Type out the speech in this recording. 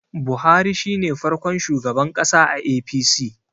Buhari shi ne farkon shugaban ƙasa a A.p.c